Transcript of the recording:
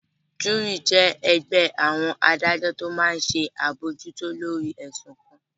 Júúrì jẹ́ ẹgbẹ́ àwọn adájọ́ tó máa n ṣe àbojútó lórí ẹ̀sùn kan